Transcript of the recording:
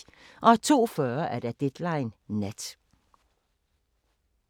02:40: Deadline Nat